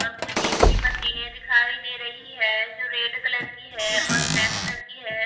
और कुछ जिम की मशीने दिखाई दे रही है जो रेड कलर की है और ब्लैक कलर की है।